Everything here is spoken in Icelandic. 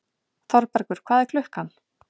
Þorbergur, hvað er klukkan?